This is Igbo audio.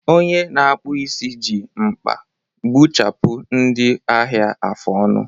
Onye na-akpụ isi ji mkpa gbuchapụ ndị ahịa afụ ọnụ